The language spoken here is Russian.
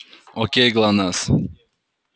окей глонассс